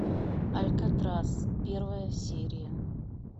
алькатрас первая серия